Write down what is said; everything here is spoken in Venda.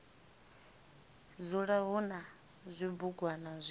dzula hu na zwibugwana zwi